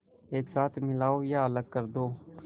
एक साथ मिलाओ या अलग कर दो